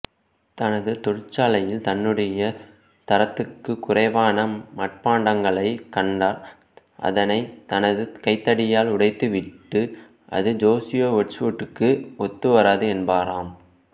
தனது தொழிற்சாலையில் தன்னுடைய தரத்துக்குக் குறைவான மட்பாண்டங்களைக் கண்டால் அதனைதனது கைத்தடியால் உடைத்துவிட்டு இது சோசியா வெட்ச்வூட்டுக்கு ஒத்துவராது என்பாராம்